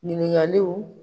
Ɲiningaliw.